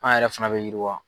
An yɛrɛ fana bɛ yiri wa.